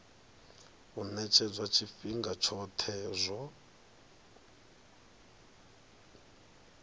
u ṅetshedzwa tshifhinga tshoṱhe tsho